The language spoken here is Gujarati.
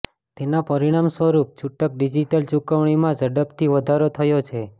તેના પરિણામસ્વરૂપે છૂટક ડિજિટલ ચુકવણીમાં ઝડપથી વધારો થયો છે